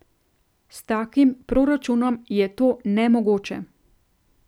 S takim proračunom je to nemogoče.